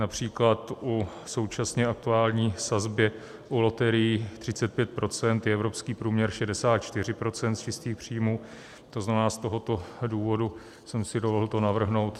Například u současně aktuální sazby u loterií 35 % je evropský průměr 64 % z čistých příjmů, to znamená, z tohoto důvodu jsem si dovolil to navrhnout.